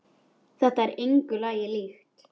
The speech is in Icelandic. Þetta er engu lagi líkt.